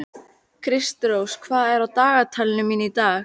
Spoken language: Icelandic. Kristrós, hvað er á dagatalinu mínu í dag?